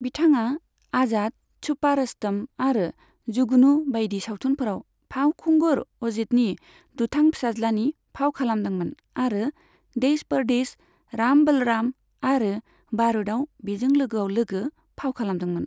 बिथाङा 'आजाद', 'छुपा रुस्तम' आरो 'जुगनु' बायदि सावथुनफोराव फावखुंगुर अजीतनि दुथां फिसाज्लानि फाव खालामदोंमोन आरो 'देश परदेश', 'राम बलराम' आरो 'बारूद'आव बिजों लोगोआव लोगो फाव खालामदोंमोन।